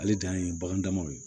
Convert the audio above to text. Ale dan ye bagan damaw ye